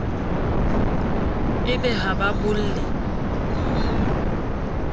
e be ha ba bolle